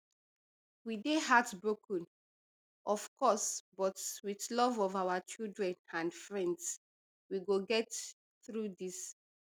we dey heartbroken of course but wit love of our children and friends we go get through dis